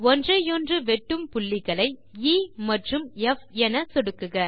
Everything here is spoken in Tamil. ஒன்றையொன்று வெட்டும் புள்ளிகளை எ மற்றும் ப் என சொடுக்குக